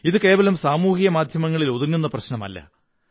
ഇത് കേവലം സാമൂഹിക മാധ്യമത്തിലൊതുങ്ങുന്ന പ്രശ്നമല്ല